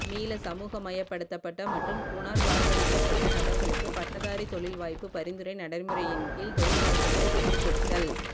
மீள சமூகமயப்படுத்தப்பட்ட மற்றும் புனர்வாழ்வளிக்கப்பட்ட நபர்களுக்கு பட்டதாரி தொழில் வாய்ப்பு பரிந்துரை நடைமுறையின் கீழ் தொழில் வாய்ப்புக்களை பெற்றுக் கொடுத்தல்